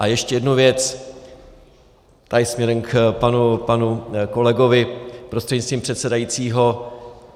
A ještě jednu věc tady směrem k panu kolegovi prostřednictvím předsedajícího.